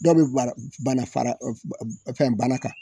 Dɔw be bara bana fara ɔf ba fɛn bana kan